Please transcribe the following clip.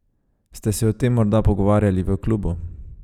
Ste se o tem morda pogovarjali v klubu?